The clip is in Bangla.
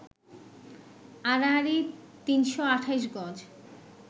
আড়াআড়ি ৩২৮ গজ